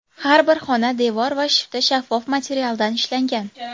Har bir xona devor va shifti shaffof materialdan ishlangan.